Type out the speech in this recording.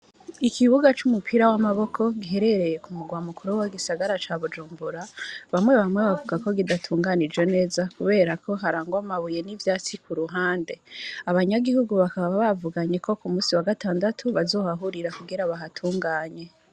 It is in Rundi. Ikibuga c’umupira w’amaboko, giherereye ku murwa mukuru w’igisagara ca Bujumbura, bamwe bamwe bavuga ko kidatunganije neza, kubera ko harangwa amabuye n’ivyatsi ku ruhande; abanyagihugu bakaba bavuganye ko ku munsi wa gatandatu, bazohahurira kugira bahatunganye.